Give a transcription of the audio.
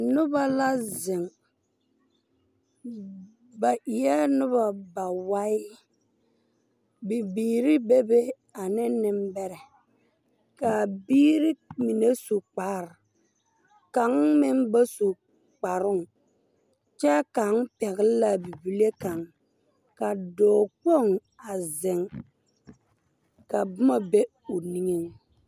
Noba la zeŋ ba eɛɛ noba bawae. Bibiiri be be ane nembɛrɛ. Kaa biiri mine su kpar... kaŋ meŋ ba su kparoŋ, kyɛ kaŋ pɛgle la a bibile kaŋ. Ka dɔɔkpoŋ a zeŋ ka bomɔ be o niŋeŋ.